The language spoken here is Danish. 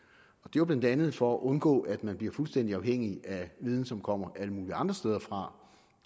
jo blandt andet for at undgå at man bliver fuldstændig afhængig af viden som kommer alle mulige andre steder fra